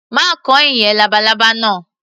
Má kan ìyẹ́ labalábá náà.